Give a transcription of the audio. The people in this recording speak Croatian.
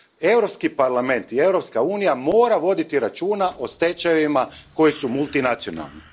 Europski parlament i Europska unija moraju voditi računa o stečajevima koji su multinacionalni.